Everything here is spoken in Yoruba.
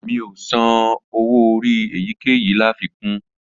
Mi ò san owó orí èyíkéyìí láfikún